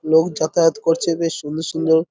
লোক যাতায়াত করছে বেশ সুন্দর সুন্দর।